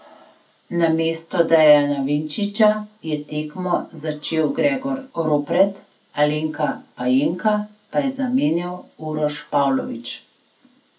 Namesto Dejana Vinčiča je tekmo začel Gregor Ropret, Alena Pajenka pa je zamenjal Uroš Pavlovič.